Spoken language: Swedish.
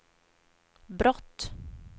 brott